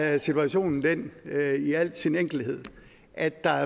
er situationen den i al sin enkelhed at der